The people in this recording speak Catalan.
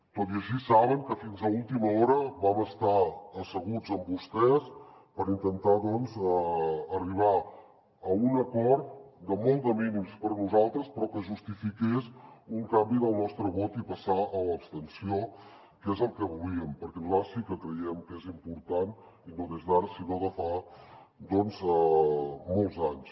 tot i així saben que fins a última hora vam estar asseguts amb vostès per intentar doncs arribar a un acord de molt de mínims per a nosaltres però que justifiqués un canvi del nostre vot i passar a l’abstenció que és el que volíem perquè nosaltres sí que creiem que és important i no des d’ara sinó de fa doncs molts anys